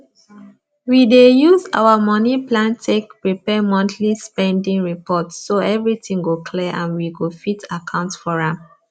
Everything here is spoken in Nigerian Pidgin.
we dey use our moni plan take prepare monthly spending report so everything go clear and we go fit account for am